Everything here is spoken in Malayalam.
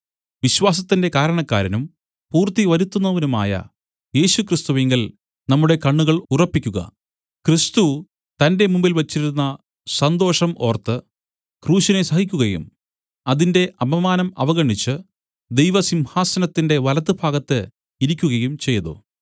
വിശ്വാസത്തിന്റെ കാരണക്കാരനും പൂർത്തി വരുത്തുന്നവനുമായ യേശുക്രിസ്തുവിങ്കൽ നമ്മുടെ കണ്ണുകൾ ഉറപ്പിക്കുക ക്രിസ്തു തന്റെ മുമ്പിൽ വെച്ചിരുന്ന സന്തോഷം ഓർത്ത് ക്രൂശിനെ സഹിക്കുകയും അതിന്റെ അപമാനം അവഗണിച്ച് ദൈവസിംഹാസനത്തിന്റെ വലത്തുഭാഗത്ത് ഇരിക്കുകയും ചെയ്തു